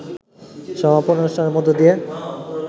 সমাপনী অনুষ্ঠানের মধ্য দিয়ে